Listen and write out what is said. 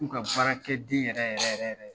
U ka baarakɛ den yɛrɛ yɛrɛ yɛrɛ